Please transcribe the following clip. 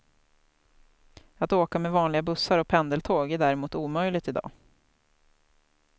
Att åka med vanliga bussar och pendeltåg är däremot omöjligt i dag.